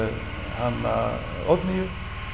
hana Oddnýju